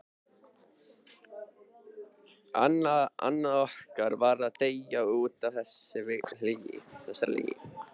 Annar okkar varð að deyja útaf þessari lygi.